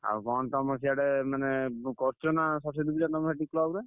ଆଉ କଣ ତମ ସିଆଡେ ମାନେ ଉ ବ କରୁଛ ନା ସରସ୍ୱତୀ ପୂଜା ତମ ସେଠି club ରେ?